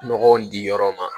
Nɔgɔ in di yɔrɔ ma